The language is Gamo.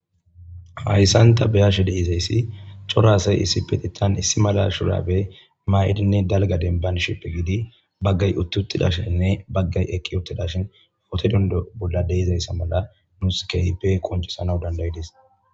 Hayssanta beyashe deizayssi corasay issi peti tan issi mala shurabe maa'idinne dalga denban shippe giidi baggay uttutidashinne baggay ekki uttida shin ote dundo bolla deizayssa mala nuus kehipe qoncisanau dandayidis.